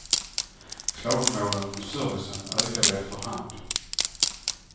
Klagomålen på servicen ökade efter hand.